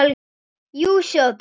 Jú, sjáið til.